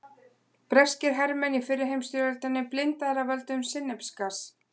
Breskir hermenn í fyrri heimsstyrjöldinni blindaðir af völdum sinnepsgass.